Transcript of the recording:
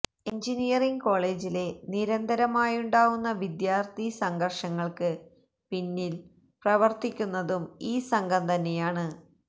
engineering കോളേജില് നിരന്തരമായുണ്ടാവുന്ന വിദ്യാര്ഥി സംഘര്ഷങ്ങള്ക്ക് പിന്നില് പ്രവര്ത്തിക്കുന്നതും ഈ സംഘം തന്നെയാണ്